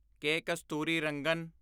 ਕੇ. Kasturirangan